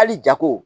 Hali jago